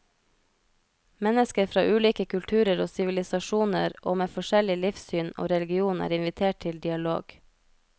Mennesker fra ulike kulturer og sivilisasjoner og med forskjellig livssyn og religion er invitert til dialog.